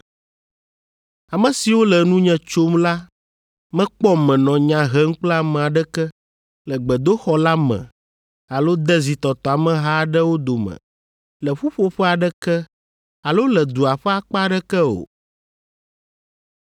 Ame siwo le nunye tsom la mekpɔm menɔ nya hem kple ame aɖeke le gbedoxɔ la me alo de zitɔtɔ ameha aɖewo dome le ƒuƒoƒe aɖeke alo le dua ƒe akpa aɖeke o.